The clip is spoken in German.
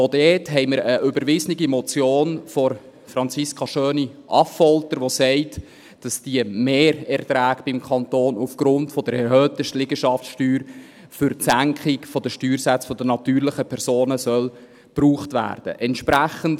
Dort haben wir auch eine überwiesene Motion von Franziska Schöni-Affolter , die besagt, dass diese Mehrerträge beim Kanton aufgrund der erhöhten Liegenschaftssteuer für die Senkung der Steuersätze der natürlichen Personen gebraucht werden sollen.